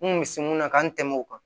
N kun bɛ se mun na ka n tɛmɛ o kan